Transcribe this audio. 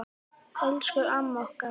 Elsku amma okkar.